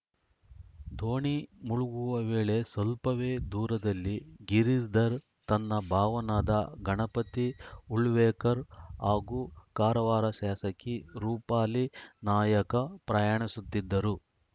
ದೋಣಿ ಮುಳುಗುವ ವೇಳೆ ಸ್ವಲ್ಪವೇ ದೂರದಲ್ಲಿ ಗಿರಿಧರ್‌ ತನ್ನ ಭಾವನಾದ ಗಣಪತಿ ಉಳ್ವೇಕರ್‌ ಹಾಗೂ ಕಾರವಾರ ಶಾಸಕಿ ರೂಪಾಲಿ ನಾಯ್ಕ ಪ್ರಯಾಣಿಸುತ್ತಿದ್ದರು